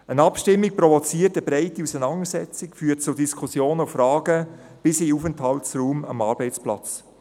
Eine Abstimmung provoziert eine breitere Auseinandersetzung, führt zu Diskussionen und Fragen bis in den Aufenthaltsraum am Arbeitsplatz.